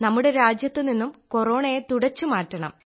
നമ്മുടെ രാജ്യത്തു നിന്നും കൊറോണയെ തുടച്ചു മാറ്റണം